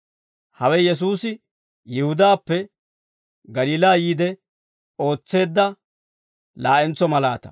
Hawe Yesuusi Yihudaappe Galiilaa yiide ootseedda laa'entso malaataa.